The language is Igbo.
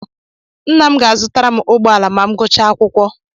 Nna m ga-azụtara m ụgbọala ma m gụchaa akwụkwọ.